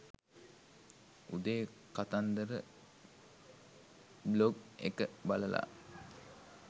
උදේ කතන්දර බ්ලොග් එක බලලා